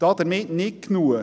Damit nicht genug: